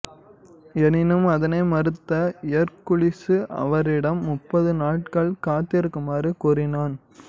எனினும் அதனை மறுத்த எர்க்குலிசு அவரிடம் முப்பது நாட்கள் காத்திருக்குமாறு கூறினான்